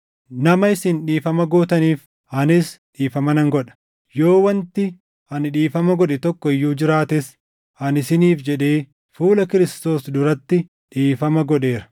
Nama isin dhiifama gootaniif, anis dhiifama nan godha. Yoo wanti ani dhiifama godhe tokko iyyuu jiraates ani isiniif jedhee fuula Kiristoos duratti dhiifama godheera;